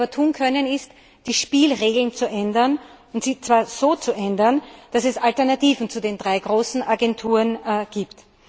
Was wir aber tun können, ist, die Spielregeln zu ändern, und zwar so zu ändern, dass es Alternativen zu den drei großen Agenturen gibt.